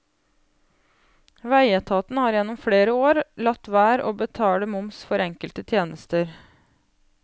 Veietaten har gjennom flere år latt være å betale moms for enkelte tjenester.